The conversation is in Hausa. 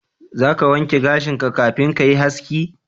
Za ka wanke gashinka kafin ka yi haski?